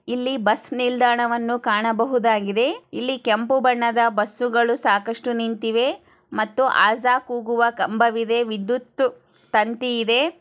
ಇಲ್ಲಿ ಬಸ್ ನಿಲ್ದಾಣವನ್ನು ಕಾಣಬಹುದಾಗಿದೆ. ಇಲ್ಲಿ ಕೆಂಪು ಬಣ್ಣದ ಬಸ್ಗಳು ಸಾಕಷ್ಟು ನಿಂತಿದೆ ಮತ್ತು ಅಜನ್ ಕೂಗುವ ಕಂಬ ಇದೆ ಇಲ್ಲಿ ವಿದ್ಯುತ್ ತಂತಿ ಇದೆ.